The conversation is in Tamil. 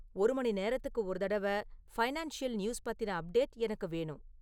ஒரு மணிநேரத்திற்கு ஒரு தடவை ஃபைனான்ஸியல் நியூஸ் பத்தின அப்டேட் எனக்கு வேணும்